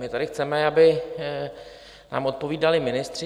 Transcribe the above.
My tady chceme, aby nám odpovídali ministři.